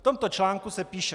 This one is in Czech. V tomto článku se píše: